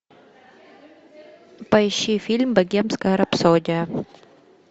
поищи фильм богемская рапсодия